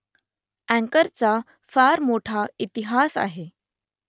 अँकरचा फार मोठा इतिहास आहे